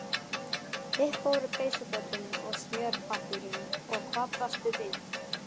Upp fóru peysufötin og smjörpappírinn og hvað blasti við?